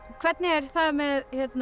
hvernig er með